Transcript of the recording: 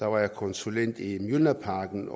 var konsulent i mjølnerparken